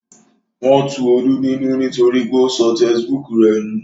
Wọn tu Olú nínú nítorí pé ó sọ tesibúùkù rẹ̀ nù